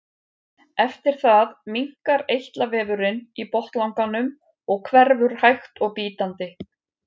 eftir það minnkar eitlavefurinn í botnlanganum og hverfur hægt og bítandi